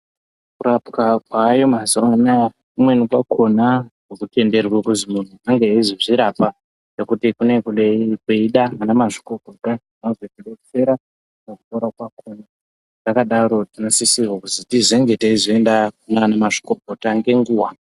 Kurapwa kwaayo mazuwanaya kumweni kwakona akutenderwi kuti muntu ange eizozvirapa ngekuti panenge peide ana mazvikokota vazotidetsera nekupora kwakona kana zvakadaro tinenge teisise kuzoende kunana mazvikokota ngenguwa.